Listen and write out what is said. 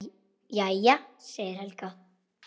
Jæja, segir Helga.